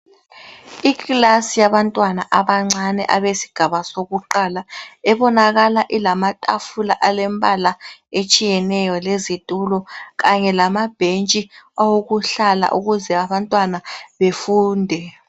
Ikilasi yabantwana abancani abesigaba sokuqala ebonakala ilamatafula alembala etshiyeneyo lezitulo kanye lamabhetshi awokuhlala ukuze abantwana befunde.